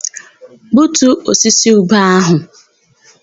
Gbutuo osisi ube áhụ̀!